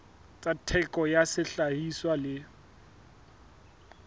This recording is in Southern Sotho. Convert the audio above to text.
tsa theko ya sehlahiswa le